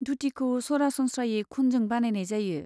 धुटिखौ सरासनस्रायै खुनजों बानायनाय जायो।